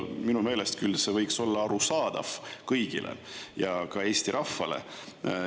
Minu meelest küll see võiks olla arusaadav kõigile, ka Eesti rahvale.